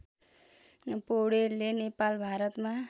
पौडेलले नेपाल भारतमा